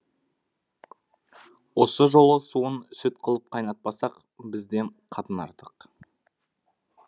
осы жолы суын сүт қылып қайнатпасақ бізден қатын артық